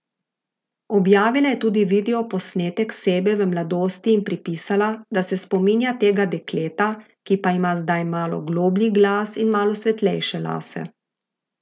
Objavila je tudi videoposnetek sebe v mladosti in pripisala, da se spominja tega dekleta, ki pa ima zdaj malo globlji glas in malo svetlejše lase.